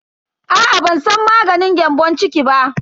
Aa ban san maganin gyambon ciki ba.